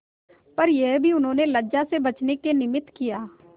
पर यह भी उन्होंने लज्जा से बचने के निमित्त किया